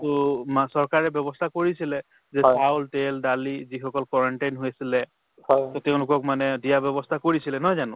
to চৰকাৰে ব্যৱস্থা কৰিছিলে যে চাউল , তেল ,দালি যিসকল quarantine হৈছিলে to তেওঁলোকক মানে দিয়াৰ ব্যৱস্থা কৰিছিলে নহয় জানো